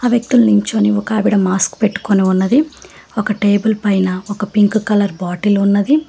వ్యక్తులు నిల్చొని ఒక ఆవిడ మాస్క్ పెట్టుకొని ఉన్నది ఒక టేబుల్ పైన ఒక పింక్ కలర్ బాటిల్ ఉన్నది.